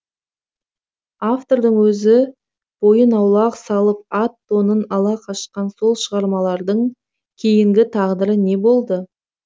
автордың өзі бойын аулақ салып ат тонын ала қашқан сол шығармалардың кейінгі тағдыры не болды